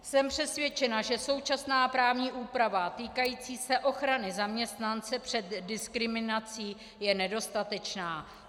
Jsem přesvědčena, že současná právní úprava týkající se ochrany zaměstnance před diskriminací je nedostatečná.